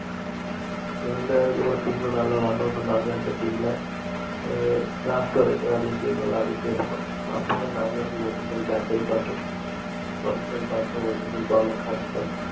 நாங்க அதுக்கு அப்புறம் team ல நல்லா விளையாண்டோம். நாங்க இருந்த team ல ஆஹ் last வரைக்கும்அதே team ல விளையாடிட்டு இருந்தோம். அப்போதான் நாங்க, original bat ஹே பாத்தோம் original bat உம் ball உம் correct